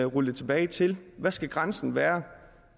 rulle det tilbage til hvad skal grænsen være